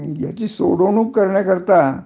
ह्याची सोडवणूक करण्या करिता